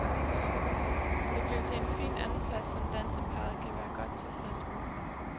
Det blev til en fin andenplads, som danseparret kan være godt tilfreds med.